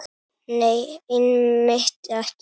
Nei, einmitt ekki.